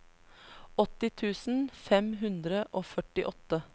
åtti tusen fem hundre og førtiåtte